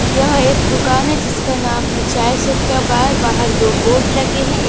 यह एक दुकान है जिसका नाम है चाय सुट्टा बार बाहर दो बोर्ड लगे है एक --